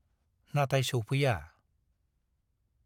नाथाय सौफैया।